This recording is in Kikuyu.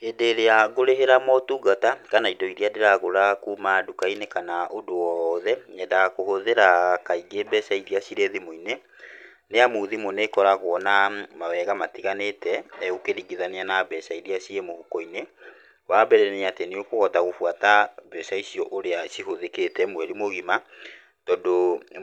Hĩndĩ ĩrĩa ngũrĩhĩra motungata kana indo iria ndĩragũra kuma ndukainĩ kana ũndũ o wothe, nyendaga kũhũthĩra kaingĩ mbeca irĩa cirĩ thimũ-inĩ, nĩ amu thimũ nĩkoragwo na mawega matiganĩte ũkĩringithania na mbeca irĩa ciĩ mũhukoinĩ. Wa mbere nĩatĩ nĩũkũhota gũbuata mbeca icio ũrĩa cihũthĩkĩte mweri mũgima tondũ